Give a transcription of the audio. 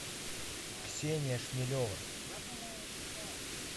ксения шмелева